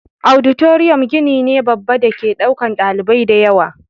Auditorium gini ne babba dake ɗaukan ɗalibai dayawa